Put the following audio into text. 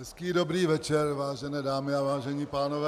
Hezký dobrý večer, vážené dámy a vážení pánové.